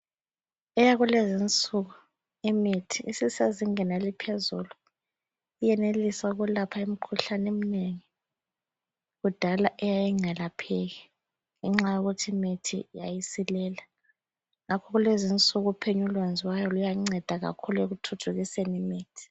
Eyakulezinsuku imithi isisezingeni eliphezulu iyenelisa ukulapha imikhuhlane eminengi kudala eyayingelapheki ngenxa yokuthi imithi yayisilela ngakho kulezinsuku uphenyo olwenziwayo luyanceda kakhulu ekuthuthukiseni imithi.